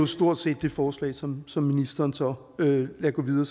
stort set det forslag som som ministeren så lader gå videre